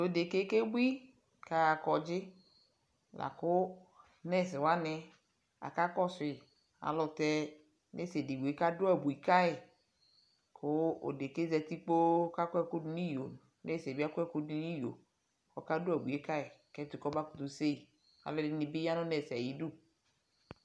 tʋ ɛdɛkaɛ kɛ bʋi kʋ aha kɔdzi lakʋ nurse wani aka kɔsʋi alʋtɛ nurse ɛdigbɔɛ kadʋ abʋi kayi kʋ ɛdɛkaɛ zati kpɔɔ kʋ akɔ ɛkʋ dʋnʋ iyɔ kʋ nurseɛ bi akɔ ɛkʋ dʋnʋ iyɔ kʋ ɔka dʋ abʋi kayi kʋ ɛtʋ kɔ bakʋtʋ sèyi, alʋɛdini bi yanʋ nurseɛ ayidʋ.